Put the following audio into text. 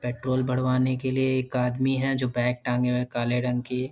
petrol भरवाने के लिए एक आदमी है जो बैग टाँगे हुए हैं काले रंग की |